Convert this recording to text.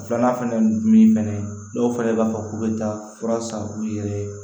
Filanan fɛnɛ dun fɛnɛ dɔw fɛnɛ b'a fɔ k'u be taa fura san u yɛrɛ ye